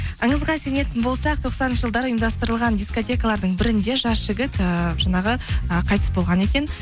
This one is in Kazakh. аңызға сенетін болсақ тоқсаныншы жылдары ұйымдастырылған дискотекалардың бірінде жас жігіт ііі жаңағы і қайтыс болған екен